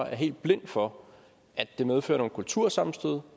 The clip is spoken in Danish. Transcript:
er helt blind for at det medfører nogle kultursammenstød